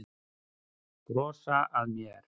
Brosa að mér!